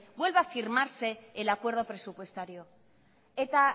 vuelva a firmarse el acuerdo presupuestario eta